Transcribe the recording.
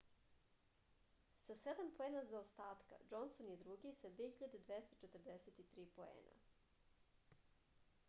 sa sedam poena zaostatka džonson je drugi sa 2243 poena